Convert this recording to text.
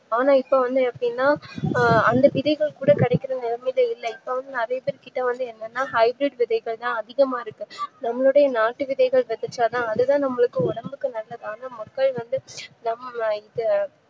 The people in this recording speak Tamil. ஆனா இப்போ வந்துஎப்டினா அந்த விதைகள் கூட கெடைக்கிற நிலமைல இல்ல இப்போவந்து நரையாபேர்கிட்ட வந்து என்னன்ன high bridge விதைகள்தா அதிகமா இருக்கு நம்மளோட நாட்டுக்கு தேவையான விஷயம் தா அதுவே நமக்கு ஒடம்புக்கு நல்லதானு மக்கள் வந்து நம்லஇப்ப